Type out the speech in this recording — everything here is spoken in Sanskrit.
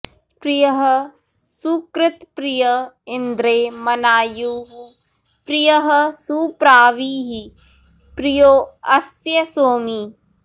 प्रियः सुकृत्प्रिय इन्द्रे मनायुः प्रियः सुप्रावीः प्रियो अस्य सोमी